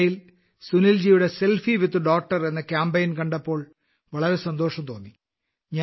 അതിനിടയിൽ സുനിൽജിയുടെ selfie with daughter എന്ന കാമ്പെയ്ൻ കണ്ടപ്പോൾ വളരെ സന്തോഷം തോന്നി